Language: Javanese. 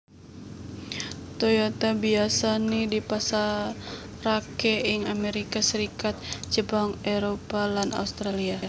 Toyota biyasané dipasaraké ing Amerika Serikat Jepang Éropah lan Australia